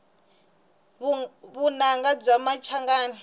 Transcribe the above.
vunanga bya machangani